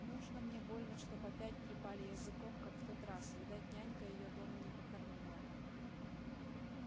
нужно мне больно чтоб опять трепали языком как в тот раз видать нянька её дома не покормила